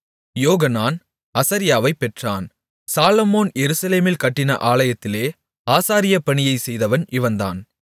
யோகனான் அசரியாவைப் பெற்றான் சாலொமோன் எருசலேமில் கட்டின ஆலயத்திலே ஆசாரிய பணியைச் செய்தவன் இவன்தான்